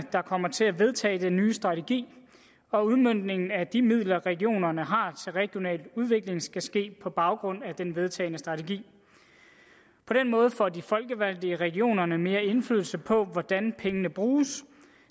der kommer til at vedtage den nye strategi og udmøntningen af de midler regionerne har til regional udvikling skal ske på baggrund af den vedtagne strategi på den måde får de folkevalgte i regionerne mere indflydelse på hvordan pengene bruges